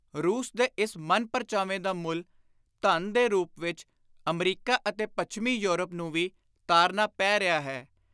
ਰੂਸ ਦੇ ਇਸ ਮਨ-ਪਰਚਾਵੇ ਦਾ ਮੁੱਲ, ਧਨ ਦੇ ਰੁਪ ਵਿਚ, ਅਮਰੀਕਾ ਅਤੇ ਪੱਛਮੀ ਯੌਰਪ ਨੂੰ ਵੀ ਤਾਰਨਾ ਪੈ ਰਿਹਾ ਹੈ।